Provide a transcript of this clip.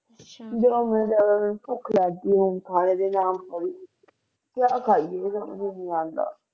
ਜੋ ਮਿਲ ਜਾਵੇ ਮੇਨੂ ਭੁੱਖ ਲਗ ਗਈ ਹੁਣ ਤਾ ਖਾਣੇ ਦਾ ਨਾਮ ਸੁਨ ਕੇ ਕਿਆ ਖਾਈਏ ਮੈਨੂੰ ਸਮਜ ਨੀ ਆਂਦਾ